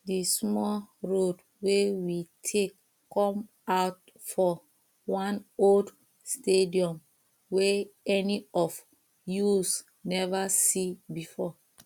the small road wey we take come out for one old stadium wey any of use never see before